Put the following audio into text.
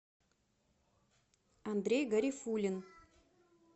андрей гарифуллин